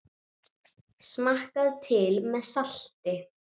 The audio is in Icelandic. Smakkað til með salti.